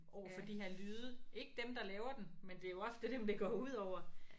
Overfor de her lyde ikke dem der laver den men det er jo ofte dem det går ud over